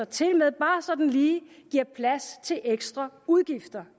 tilmed bare sådan lige giver plads til ekstra udgifter